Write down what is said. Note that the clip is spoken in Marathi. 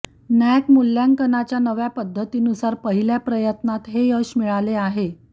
नॅक मूल्यांकनाच्या नव्या पद्धतीनुसार पहिल्या प्रयत्नात हे यश मिळाले आहे